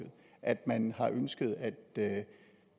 at man har ønsket at at